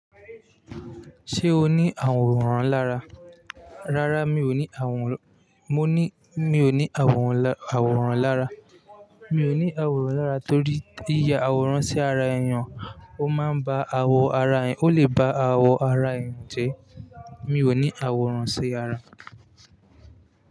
Ṣé o ní àwòrán lára? Rárá mi ò ní àwòrán, mo ní, mi ò ní àwòrán, àwòrán lára. Mi ò ní àwòrán lára torí yíya àwòrán sí ara èèyàn ó máa ń ba awọ ara ẹ̀, ó lè ba awọ ara èèyàn jẹ́. Mi ò ní àwòrán sí ara.